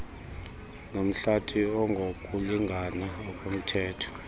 nomhlathi ongokulingana okumthetho